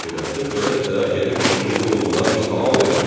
Fikirləşdim, belədirsə gedim kişinin qulluğuna bir salam verim.